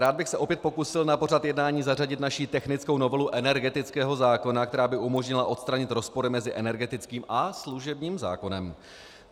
Rád bych se opět pokusil na pořad jednání zařadit naši technickou novelu energetického zákona, která by umožnila odstranit rozpory mezi energetickým a služebním zákonem.